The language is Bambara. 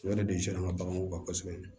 O yɛrɛ de siran ka baganw ka kosɛbɛ